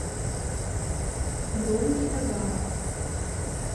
бронь китагава